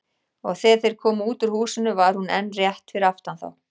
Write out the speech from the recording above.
Og þegar þeir komu út úr húsinu var hún enn rétt fyrir aftan þá.